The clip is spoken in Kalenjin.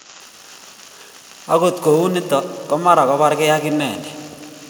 Agot kuniton ko mara kobargei ak indet